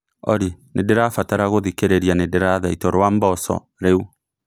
olly nĩndĩrabatara kuthikiriria ni nindirathaitwo rwa mbosso riu